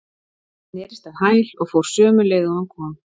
Hann snerist á hæl og fór sömu leið og hann kom.